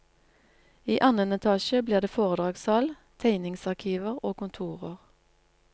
I annen etasje blir det foredragssal, tegningsarkiver og kontorer.